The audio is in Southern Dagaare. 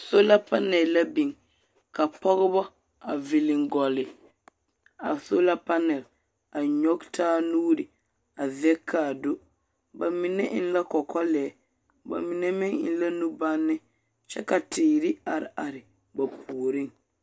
Sola panɛl la biŋ. Ka pɔgeba a viliŋ gɔlle a sola panɛl, a nyɔge taa nuuri, a zɛge kaa do. Ba mine eŋ la kɔkɔlɛɛ, ba mine meŋ eŋ la nubanne kyɛ ka teere are are ba puoriŋ.